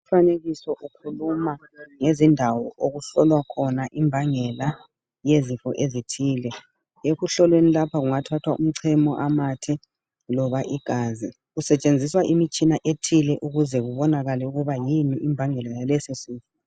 Umfanekiso ukhuluma ngezindawo okuhlolwa imbangela yezifo ezithile ekuhloleni lapha kungathathwa umchemo, amathe loba igazi kusetshenziswa imitshina ethile ukuze kubonakale ukuba yini imbangela yaleso sifo.